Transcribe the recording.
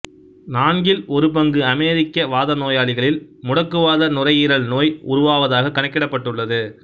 நான்கில் ஒரு பங்கு அமெரிக்க வாதநோயாளிகளில் முடக்குவாத நுரையீரல் நோய் உருவாவதாகக் கணக்கிடப்பட்டுள்ளது